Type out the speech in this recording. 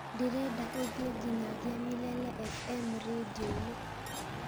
ndĩrenda ũthie nginyagia milele f.m. rĩndiũ-inĩ